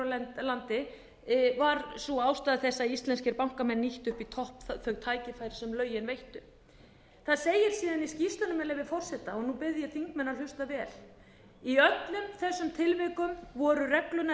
á landi var sú ástæða þess að íslenskir bankamenn nýttu upp í topp þau tækifæri sem lögin veittu það segir síðan í skýrslunni með leyfi forseta og nú bið ég þingmenn að hlusta vel í öllum þessum tilvikum voru reglurnar